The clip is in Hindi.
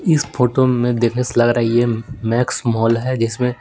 इस फोटो में देखने से लग रहा है ये मैक्स मॉल है जिसमें--